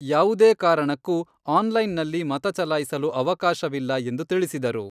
ಯಾವುದೇ ಕಾರಣಕ್ಕೂ ಆನ್ಲೈನನಲ್ಲಿ ಮತಚಲಾಯಿಸಲು ಅವಕಾಶವಿಲ್ಲ ಎಂದು ತಿಳಿಸಿದರು.